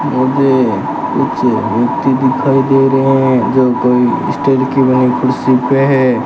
मुझे कुछ व्यक्ति दिखाई दे रहे है जो कोई स्टील कि बनी कुर्सी पे है।